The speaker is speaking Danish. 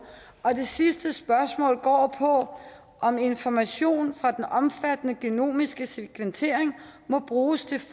og det sidste spørgsmål går på om information fra den omfattende genomiske sekventering må bruges til